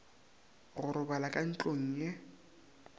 go robala ka ntlong ye